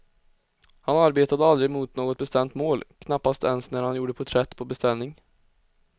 Han arbetade aldrig mot något bestämt mål, knappast ens när han gjorde porträtt på beställning.